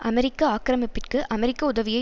அமெரிக்க ஆக்கிரமிப்பிற்கு அமெரிக்க உதவியை